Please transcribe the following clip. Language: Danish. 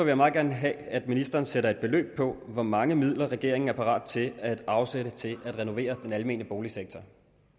jeg meget gerne have at ministeren sætter et beløb på hvor mange midler regeringen er parat til at afsætte til at renovere den almene boligsektor